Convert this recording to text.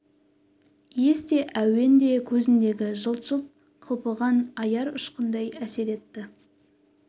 иіс те әуен де көзіндегі жылт-жылт қылпыған аяр ұшқындай әсер етті